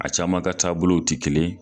A caman ka taabolow tɛi kelen